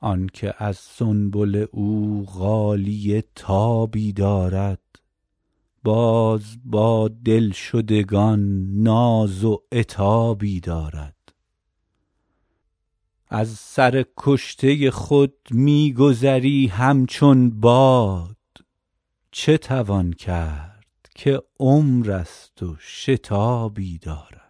آن که از سنبل او غالیه تابی دارد باز با دلشدگان ناز و عتابی دارد از سر کشته خود می گذری همچون باد چه توان کرد که عمر است و شتابی دارد